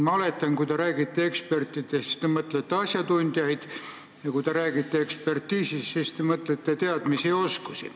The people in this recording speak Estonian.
Ma oletan, et kui te räägite ekspertidest, siis te mõtlete asjatundjaid, ja kui te räägite ekspertiisist, siis te mõtlete teadmisi ja oskusi.